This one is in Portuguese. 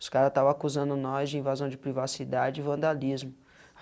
Os cara estavam acusando nós de invasão de privacidade e vandalismo.